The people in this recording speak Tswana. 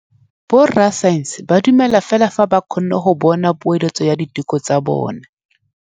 Borra saense ba dumela fela fa ba kgonne go bona poeletsô ya diteko tsa bone.